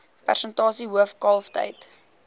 persentasie hoof kalftyd